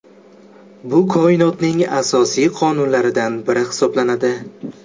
Bu Koinotning asosiy qonunlaridan biri hisoblanadi.